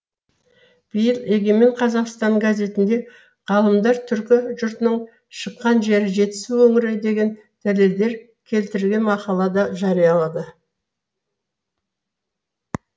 биыл егемен қазақстан газетінде ғалымдар түркі жұртының шыққан жері жетісу өңірі деген дәлелдер келтірген мақала да жариялады